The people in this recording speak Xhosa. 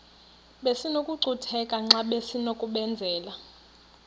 besinokucutheka xa besinokubenzela